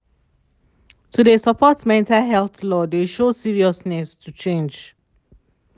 to de support mental health law de show seriousness to change.